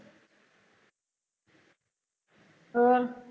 ਹੋਰ